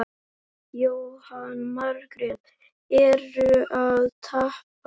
Jóhanna Margrét: Ertu að tapa?